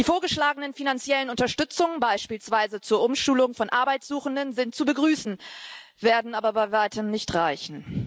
Die vorgeschlagenen finanziellen Unterstützungen, beispielsweise zur Umschulung von Arbeitssuchenden, sind zu begrüßen, werden aber bei Weitem nicht reichen.